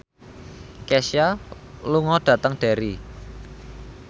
Kesha lunga dhateng Derry